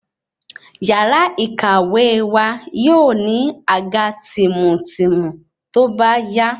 Yàrá ìkàwé wa yóò ní àga tìmùtìmù tóbá yá